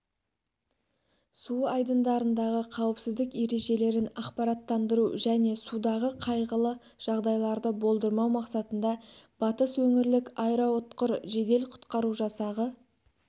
су айдындарындағы қауіпсіздік ережелерін ақпараттандыру және судағы қайғылы жағдайларды болдырмау мақсатында батыс өңірлік аэроұтқыр жедел-құтқару жасағы